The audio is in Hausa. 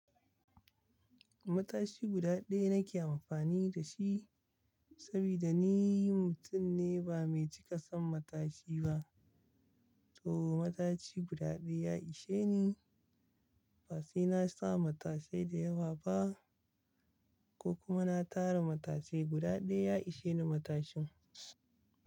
Matashi guda ɗaya nake amfani da shi saboda ni mutum ne ba mai cika son matashi ba. To matashi guda ɗaya ya ishe ni. Ba sai na sa matasai da yawa ba ko kuma na tara matashi guda ɗaya ya ishe ni matashin.